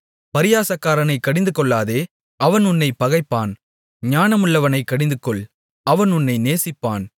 பரியாசக்காரனைக் கடிந்துகொள்ளாதே அவன் உன்னைப் பகைப்பான் ஞானமுள்ளவனைக் கடிந்துகொள் அவன் உன்னை நேசிப்பான்